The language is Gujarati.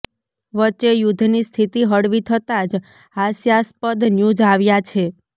વચ્ચે યુદ્ધની સ્થિતિ હળવી થતાં જ હાસ્યાસ્પદ ન્યૂઝ આવ્યા છે